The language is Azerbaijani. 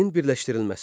Çinin birləşdirilməsi.